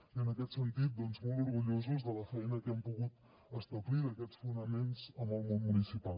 i en aquest sentit doncs molt orgullosos de la feina que hem pogut establir d’aquests fonaments amb el món municipal